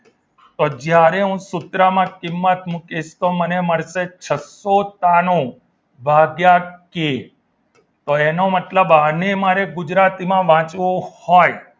તો જ્યારે હું સૂત્રમાં કિંમત મુકીશ તો મને મળશે છસ્સો તરણું ભાગ્યા કે તો એનો મતલબ આને મારે ગુજરાતીમાં વાંચવું હોય